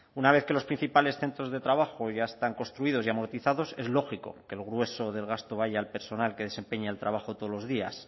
una vez que los principales centros de trabajo ya están construidos y amortizados es lógico que el grueso del gasto vaya al personal que desempeña el trabajo todos los días